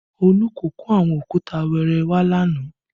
Olú kò kó àwọn òkúta wẹẹrẹ wá yesterday